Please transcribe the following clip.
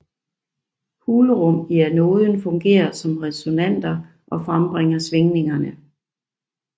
Hulrum i anoden fungerer som resonatorer og frembringer svingningerne